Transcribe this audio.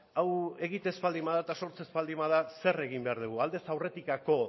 hau egiten ez baldin bada eta sortzen ez baldin bada zer egin behar dugu aldez aurretik